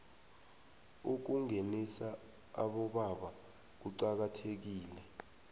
ukungenisa abobaba kuqakathekile